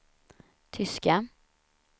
tyska